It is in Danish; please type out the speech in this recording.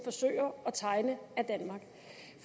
forsøger at tegne af danmark